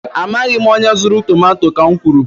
Amaghị m onye zuru tomato, ka m kwuru